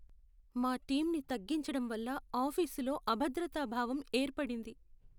మా టీంని తగ్గించడం వల్ల ఆఫీసులో అభద్రతా భావం ఏర్పడింది.